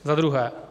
Za druhé.